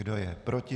Kdo je proti?